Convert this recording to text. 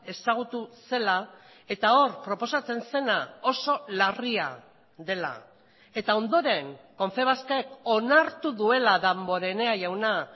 ezagutu zela eta hor proposatzen zena oso larria dela eta ondoren confebask ek onartu duela danborenea jauna